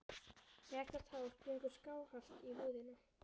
Sérhvert hár gengur skáhallt í húðina.